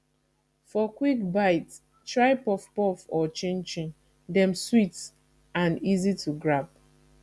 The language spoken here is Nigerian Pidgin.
for quick bite try puff puff or chin chin dem sweet and easy to grab